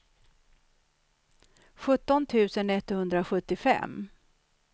sjutton tusen etthundrasjuttiofem